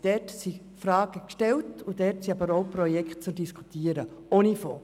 Dort werden bereits Fragen gestellt und Projekte diskutiert, auch ohne Fonds.